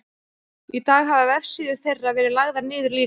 í dag hafa vefsíður þeirra verið lagðar niður líka